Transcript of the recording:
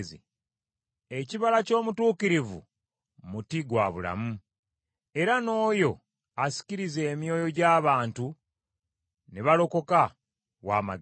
Ekibala ky’omutuukirivu muti gwa bulamu, era n’oyo asikiriza emyoyo gy’abantu ne balokoka wa magezi.